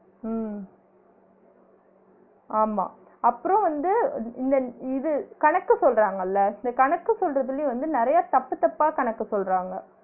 உம் ஆமா அப்றோ வந்து இ~ இந்த இது கணக்கு சொல்றாங்கள்ள இந்த கணக்கு சொல்றதுலயும் வந்து நெறைய தப்பு தப்பா கணக்கு சொல்றாங்க